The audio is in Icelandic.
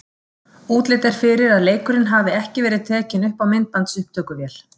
Útlit er fyrir að leikurinn hafi ekki verið tekinn upp á myndbandsupptökuvél.